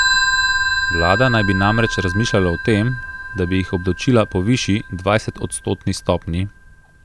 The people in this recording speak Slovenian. Vlada naj bi namreč razmišljala o tem, da bi jih obdavčila po višji, dvajsetodstotni stopnji.